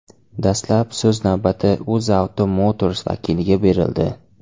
Dastlab so‘z navbati UzAuto Motors vakiliga berildi.